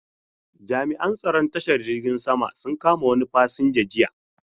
Jami'an tsaron tashar jirgin saman sun kama wani fasinja jiya.